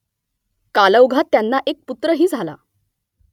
कालौघात त्यांना एक पुत्रही झाला